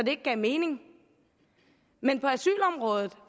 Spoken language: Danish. ikke gav mening men